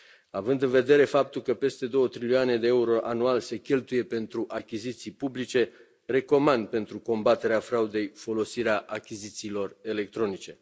Având în vedere faptul că peste două trilioane de euro anual se cheltuie pentru achiziții publice, recomand pentru combaterea fraudei folosirea achizițiilor electronice.